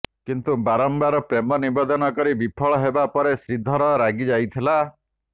କିନ୍ତୁ ବାରମ୍ବାର ପ୍ରେମ ନିବେଦନ କରି ବିଫଳ ହେବା ପରେ ଶ୍ରୀଧର ରାଗି ଯାଇଥିଲା